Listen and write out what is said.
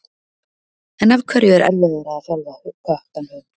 En af hverju er erfiðara að þjálfa kött en hund?